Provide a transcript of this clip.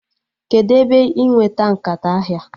Kedụ ebe ị nweta nkata ahịa?